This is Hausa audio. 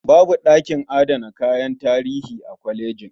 Babu ɗakin adana kayan tarihi a kolejin.